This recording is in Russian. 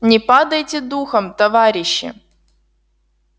не падайте духом товарищи